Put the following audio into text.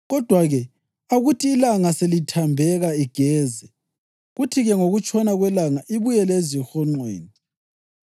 Kodwa-ke akuthi ilanga selithambeka igeze, kuthi-ke ngokutshona kwelanga ibuyele ezihonqweni.